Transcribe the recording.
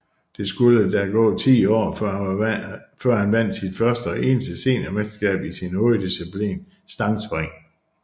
Det skulle der gå ti år før han vandt sit første og eneste seniormesterskab i sin hoveddisciplin stangspring